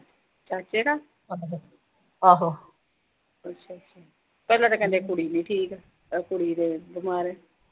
ਚਾਚੇ ਦਾ ਅੱਛਾ-ਅੱਛਾ। ਕਦੇ ਤਾਂ ਕਹਿੰਦੇ ਕੁੜੀ ਨੀਂ ਠੀਕ, ਆਹ ਕੁੜੀ ਜੋ ਬਿਮਾਰ ਆ।